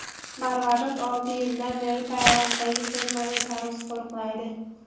Marvarid olti yildan beri Tailanddagi fermada tarvuz qo‘riqlaydi.